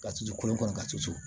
Ka sutura kɔnɔ ka cun tusu